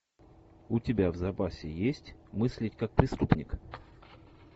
у тебя в запасе есть мыслить как преступник